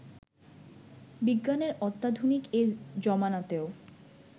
বিজ্ঞানের অত্যাধুনিক এ জমানাতেও